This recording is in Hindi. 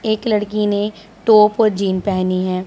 एक लड़की ने टॉप और जींस पहनी है।